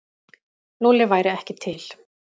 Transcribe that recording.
Lúlli væri ekki til.